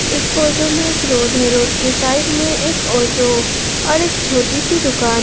इस फोटो में एक रोड है रोड के साइड में एक ऑटो और एक छोटी सी दुकान।